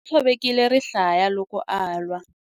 U tshovekile rihlaya loko a lwa.